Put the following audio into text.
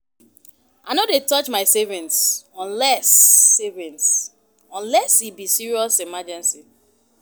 I no dey touch my savings unless savings unless e be serious emergency.